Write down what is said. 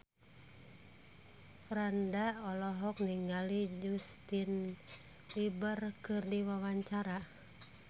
Franda olohok ningali Justin Beiber keur diwawancara